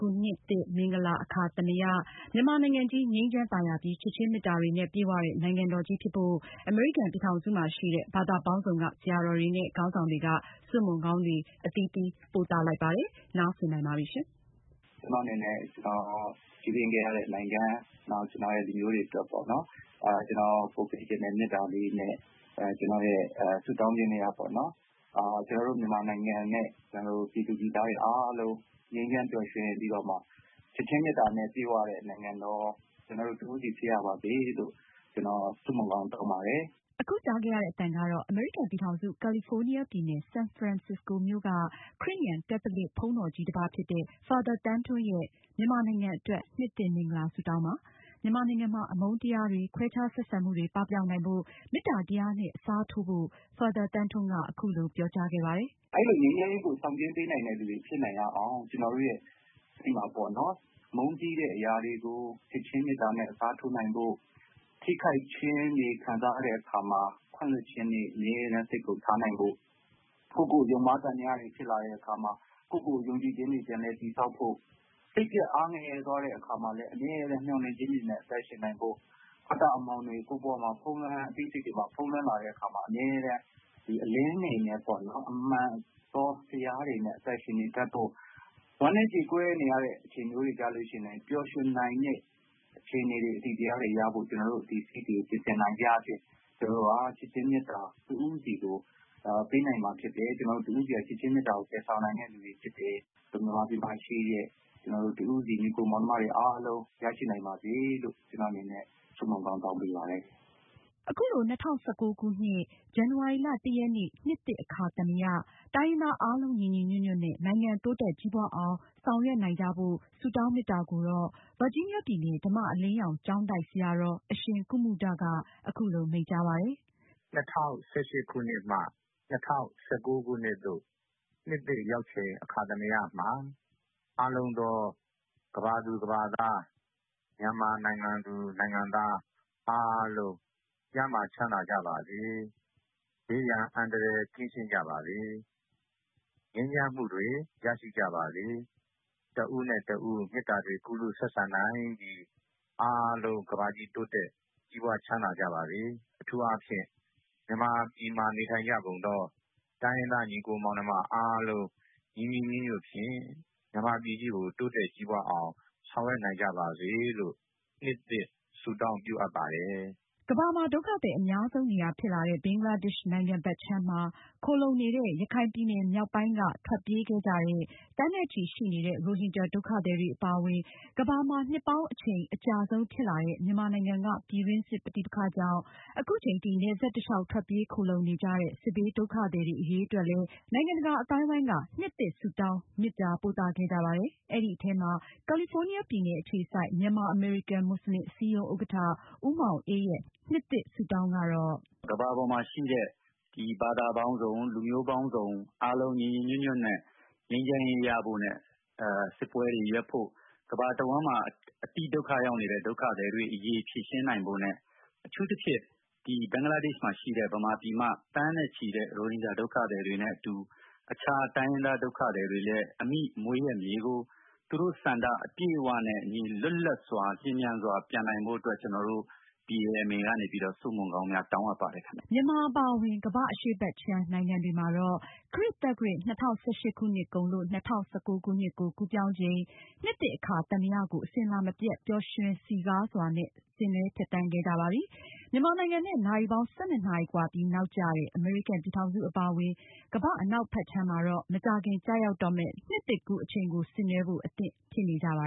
ခုနှစ်သစ်မင်္ဂလာ အခါသမယ မြန်မာနိုင်ငံကြီး ငြိမ်းချမ်းသာယာပြီး ချစ်ခြင်းမေတ္တာတွေနဲ့ ပြည့်ဝတဲ့ နိုင်ငံတော်ကြီးဖြစ်ဖို့ အမေရိကန်ပြည်ထောင်စုမှာရှိနေတဲ့ ဘာသာပေါင်းစုံက ဆရာတော်တွေနဲ့ ခေါင်းဆောင်တွေက ဆုမွန်ကောင်းတွေ အသီးသီးပို့သလိုက်ပါတယ်။ မအင်ကြင်းနိုင်က အပြည့်အစုံကို တင်ပြမှာပါ။ “ကျနော့်အနေနဲ့ ကျနော်ကြီးပြင်းခဲ့တဲ့ နိုင်ငံ၊ ကျနော်ရဲ့ လူမျိုးတွေအတွက် ကျနော်ပို့ပေးချင်တဲ့ မေတ္တာလေးနဲ့ ကျနော်ရဲ့ ဆုတောင်းခြင်းထဲက ကျနော်တို့ မြန်မာနိုင်ငံနဲ့ ပြည်သူပြည်သားတွေအားလုံး ငြိမ်းချမ်းပျော်ရွှင်ပြီးတော့မှ ချစ်ခြင်းမေတ္တာနဲ့ ပြည့်ဝတဲ့ နိုင်ငံတော် ဖြစ်ပါစေလို့ ဆုမွန်ကောင်းတောင်းပါတယ်။” အခုပြောသွားသူကတော့ အမေရိကန်ပြည်ထောင်စု ကာလီဖိုးနီးယားပြည်နယ် ဆန်ဖရန်စစ္စကိုမြို့က ခရစ်ယာန်ကက်သလစ်ဘုန်းတော်ကြီးတပါးဖြစ်တဲ့ Father သန်းထွန်းရဲ့ မြန်မာနိုင်ငံအတွက် နှစ်သစ်မင်္ဂလာ ဆုတောင်းပါ။ မြန်မာနိုင်ငံမှာ အမုန်းတရားတွေ၊ ခွဲခြားဆက်ဆံမှုတွေ ပပျောက်နိုင်ဖို့ မေတ္တာတရားနဲ့ အစားထိုးဖို့ Father သန်းထွန်းက အခုလိုပြောကြားခဲ့ပါတယ်။ “ငြိမ်းချမ်းရေးကို ဆောင်ကျဉ်းပေးနိုင်တဲ့သူတွေဖြစ်နိုင်ရအောင် ကျနော်တို့ဆီမှာ မုန်းတီးတဲ့အရာတွေကို ချစ်ခြင်းမေတ္တာနဲ့ အစားထိုးနိုင်ဖို့၊ ထိခိုက်ခြင်းခံစားရတဲ့အခါမှာ ခွင့်လွှတ်ခြင်းတွေ အမြဲတမ်း စိတ်ထဲမှာထားနိုင်ဖို့၊ ကိုယ့်ကို ယုံမှားသံသယတွေဖြစ်လာတဲ့အခါမှာ ကိုယ့်ကို ယုံကြည်ခြင်းတွေ ပြန်လည်တည်ဆောက်ဖို့၊ စိတ်ပျက် အားငယ်သွားတဲ့အခါမှာလည်း အမြဲတမ်း မျှော်လင့်ခြင်းတွေနဲ့ အသက်ရှင်နိုင်ဖို့၊ အတ္တအမှောင်တွေ ကိုယ့်ရဲ့အသိစိတ်မှာ ဖုံးလွှမ်းလာတဲ့အခါ အမြဲတမ်းအလင်းတွေနဲ့ မှန်သောတရားတွေနဲ့ အသက်ရှင်နေတတ်ဖို့၊ ဝမ်းနည်း ကြေကွဲနေရတဲ့အချိန်ဆိုရင်လည်း ပျော်ရွှင်နိုင်တဲ့ အခြေအနေ အသိတရားတွေရဖို့ ပြင်ဆင်နိုင်ခြင်းအားဖြင့် ကျနော်တို့ဟာ ချစ်ခြင်းမေတ္တာ တဦးဆီကိုပေးနိုင်မှာဖြစ်တယ်။” အခုလို ၂၀၁၉ခုနှစ် ဇန်နဝါရီလ ရက်နေ့ နှစ်သစ်အခါသမယ တိုင်းရင်းသား အားလုံးညီညီညွတ်ညွတ်နဲ့ နိုင်ငံတိုးတက်ကြီးပွားအောင် ဆောင်ရွက်နိုင်ကြဖို့ဆုတောင်း မေတ္တာကိုတော့ဗာဂျီးနီးယားပြည်နယ် ဓမ္မအလင်းရောင် ကျောင်းတိုက်ဆရာတော် အရှင်ကုမုဒ က အခုလို မိန့်ကြားပါတယ်။ “ ၂၀၁၈ခုနှစ်မှ ၂၀၁၉ခုနှစ်သို့ နှစ်သစ်ရောက်ချိန် အခါသမယမှာ အားလုံးသော ကမ္ဘာသူ၊ ကမ္ဘာသား၊ မြန်မာနိုင်ငံသူ၊ နိုင်ငံသား အားလုံး ကျန်းမာချမ်းသာကြပါစေ။ ဘေးရန်အန္တရာယ် ကင်းရှင်းကြပါစေ။ ငြိမ်းချမ်းမှုတွေ ရရှိကြပါစေ။ တဦးနဲ့ တဦးမေတ္တာတွေ ကူးလူးဆက်ဆံနိုင်ပြီး အားလုံးတိုးတက်ကြီးပွား ချမ်းသာကြပါစေ။ အထူးအားဖြင့် မြန်မာပြည်မှာ နေထိုင်ကြကုန်သော တိုင်းရင်းသားညီအကိုမောင်နှမ အားလုံး ညီညီညွတ်ညွတ်ဖြင့် မြန်မာပြည်ကြီးကို တိုးတက်ကြီးပွားအောင် ဆောင်ရွက်နိုင်ကြပါစေလို့ နှစ်သစ်ဆုတောင်း ပြုအပ်ပါတယ်။” ကမ္ဘာမှာ ဒုက္ခသည်အများဆုံးနေရာဖြစ်လာတဲ့ ဘင်္ဂလားဒေ့ရှ်နိုင်ငံဘက်ခြမ်းမှာ ခိုလှုံနေတဲ့ ရခိုင်ပြည်နယ်မြောက်ပိုင်းကနေ ထွက်ပြေးခဲ့ကြတဲ့ သန်းနဲ့ချီရှိနေတဲ့ ရိုဟင်ဂျာဒုက္ခသည်တွေ အပါအဝင် ကမ္ဘာမှာ နှစ်ပေါင်းအချိန် အကြာဆုံးဖြစ်လာတဲ့ မြန်မာနိုင်ငံက ပြည်တွင်းစစ်ပဋိပက္ခကြောင့် အခုချိန်ထိ နယ်စပ်တလျောက် ထွက်ပြေးခိုလှုံနေကြတဲ့ စစ်ဘေးဒုက္ခသည်တွေအရေးအတွက်လည်း နိုင်ငံတကာအသိုင်းအဝိုင်းက နှစ်သစ် မင်္ဂလာ ဆုတောင်းမေတ္တာပို့သခဲ့ကြပါတယ်။ အဲဒီအထဲမှာ ကာလီဖိုးနီးယားပြည်နယ်အခြေစိုက် မြန်မာ-အမေရိကန် မွတ်စလင်အစည်းအရုံး ဥက္ကဌ ဦးမောင်အေးရဲ့ နှစ်သစ်ကူးဆုတောင်းကတော့- “ကမ္ဘာပေါ်မှာရှိတဲ့ ဘာသာပေါင်းစုံ၊ လူမျိုးပေါင်းစုံ အားလုံးညီညီညွတ်ညွတ်နဲ့ ငြိမ်းချမ်းရေး ရကြဖို့ စစ်ပွဲတွေ ရပ်ဖို့၊ ကမ္ဘာတဝန်းမှာ အတိဒုက္ခရောက်နေတဲ့ ဒုက္ခသည်တွေအရေး ဖြေရှင်းနိုင်ဖို့နဲ့ အထူးသဖြင့် ဘင်္ဂလားဒေ့ရှ်မှာရှိတဲ့ မြန်မာပြည်က သန်းနဲ့ချီတဲ့ ရိုဟင်ဂျာဒုက္ခသည်တွေနဲ့အတူ အခြားတိုင်းရင်းသား ဒုက္ခသည်တွေနဲ့အတူ အမိမွေးရပ်မြေကို သူတို့ဆန္ဒအပြည့်အဝနဲ့ လွတ်လပ်စွာ လျင်မြန်စွာ ပြန်နိုင်ဖို့အတွက် ကျနော်တို့ BMA ကနေပြီးတော့ ဆုမွန်ကောင်းများ တောင်းအပ်ပါတယ်။” မြန်မာနိုင်ငံအပါအဝင် ကမ္ဘာ့အရှေ့ဘက်ခြမ်း နိုင်ငံတွေမှာတော့ခရစ်သက္ကရာဇ် ၂၀၁၈ခုနှစ်ကုန်လို့ ၂၀၁၉ခုနှစ်ကို ကူးပြောင်းချိန်နှစ်သစ်အခါသမကို အစဉ်အလာမပြတ် ပျော်ရွှင်စည်းကားစွာနဲ့ဆင်နွဲှဖြတ်သန်းခဲ့ကြပါပြီ။ မြန်မာနိုင်ငံနဲ့ နာရီပေါင်း ၁၂ နာရီကွာပြီး နောက်ကျတဲ့ အမေရိကန်ပြည်ထောင်စုအပါအဝင် ကမ္ဘာ့အနောက်ဘက်ခြမ်းမှာတော့ မကြာခင်ကျရောက်တော့မယ့်နှစ်သစ်ကူးအချိန်ကို ဆင်နွဲှဖို့ အသင့်ဖြစ်နေကြပါ